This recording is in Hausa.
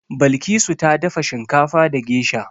Balkisu ta dafa shinkafa da gesha.